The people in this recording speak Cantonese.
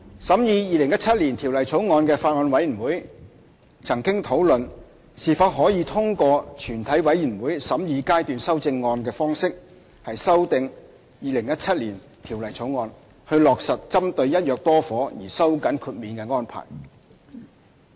審議《2017年條例草案》的法案委員會曾討論是否可以通過全體委員會審議階段修正案的方式修訂《2017年條例草案》，以落實針對"一約多伙"而收緊豁免的安排。